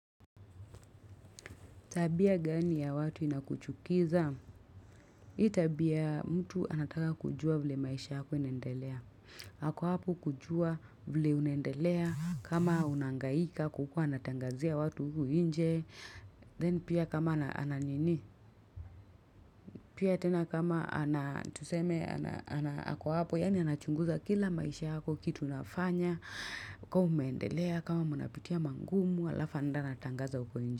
Tabia gani ya watu inakuchukiza? hiI tabia mtu anataka kujua vile maisha yako inaendelea. Ako hapo kujua vile uaendelea. Kama unahangaika kukua natangazia watu huku nje. Then pia kama ananini. Pia tena kama anatuseme anako hapo. Yani anachunguza kila maisha yako kitu unafanya. Kwa umeendelea. Kama mnapitia mangumu. Halafu anatangaza huko nje.